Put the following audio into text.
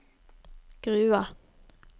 Grua